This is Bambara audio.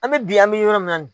An bɛ bi an bɛ yɔrɔ min na